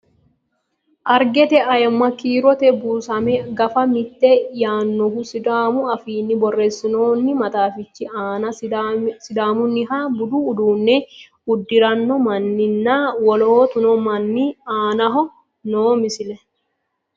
Arigete ayiimma kiirote buusamme gaffa mitte yaannohu sidaamu affinni borreessinoonni maxaaffichi aanna sidaamuniha budu uudune udirinno manni nna woloottu manni aannaho noo misile